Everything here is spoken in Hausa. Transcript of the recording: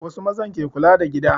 Wasu mazan ke kula da gida